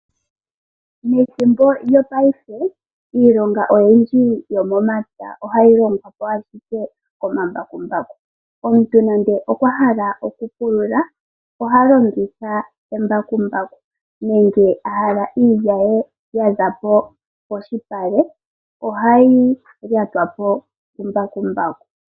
Methimbo lyopaife iilonga oyindji yomomapya ohayi longwa komambakumbaku . Omuntu ngele okwa hala okupulula oha longitha embakumbaku nenge ahala iilya ye ahala yizepo poshipale, ohayi lyatwa po kumbakumbaku.